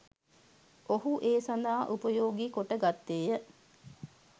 ඔහු ඒ සඳහා උපයෝගී කොට ගත්තේය.